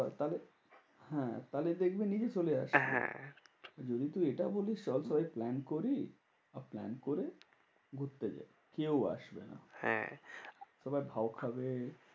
তাহলে হ্যাঁ তাহলে দেখবি নিজে চলে আসছে। হ্যাঁ যদি তুই এটা বলিস, চল তবে plan করি। plan করে ঘুরতে যাই, কেউ আসবে না। হ্যাঁ তারপরে ভাউ খাবে।